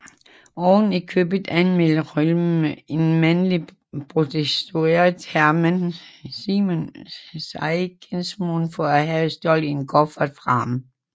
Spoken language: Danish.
Oven i købet anmeldte Röhm en mandlig prostitueret Hermann Siegesmund for at have stjålet en kuffert fra ham